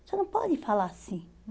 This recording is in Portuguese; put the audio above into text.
Você não pode falar assim.